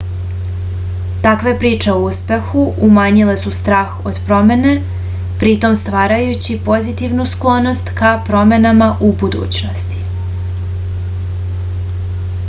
takve priče o uspehu umanjile su strah od promena pritom stvarajući pozitivnu sklonost ka promenama u budućnosti